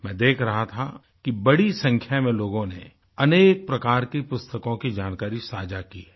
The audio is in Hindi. मैं देख रहा था कि बड़ी संख्या में लोगों ने अनेक प्रकार के पुस्तकों की जानकारी साझा की हैं